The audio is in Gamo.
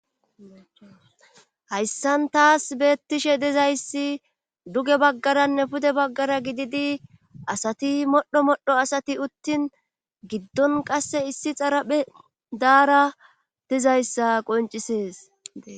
hayssan taas beettishe dizayssi duge baggaranne pude baggara gididi asati modho modho asati uttin giddon qasse issi xaraphe daara dizayssa qoncisees